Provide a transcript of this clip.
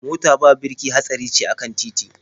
Mota ba birki hatsari ce a kan titi.